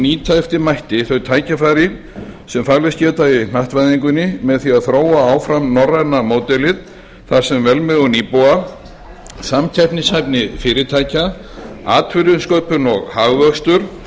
nýta eftir mætti þau tækifæri sem falist geti í hnattvæðingunni með því að þróa áfram norræna módelið þar sem velmegun íbúa samkeppnishæfni fyrirtækja atvinnusköpun og hagvöxtur